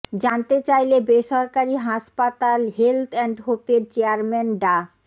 জানতে চাইলে বেসরকারি হাসপাতাল হেলথ অ্যাণ্ড হোপের চেয়ারম্যান ডা